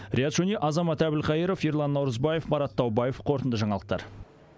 риат шони азамат әбілқайыров ерлан наурызбаев марат таубаев қорытынды жаңалықтар